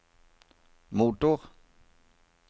motor